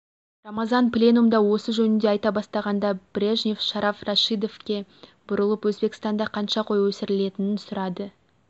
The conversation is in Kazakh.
рамазанов пленумда осы жөнінде айта бастағанда брежнев шараф рашидовке бұрылып өзбекстанда қанша қой өсірілетінін сұрайды